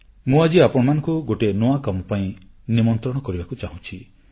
ମୁଁ ଆଜି ଆପଣମାନଙ୍କୁ ଗୋଟିଏ ନୂଆ କାମ ପାଇଁ ନିମନ୍ତ୍ରଣ କରିବାକୁ ଚାହୁଁଛି